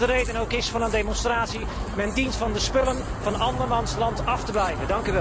Wat de reden ook is van een demonstratie, men dient van de spullen van andermans land af te blijven!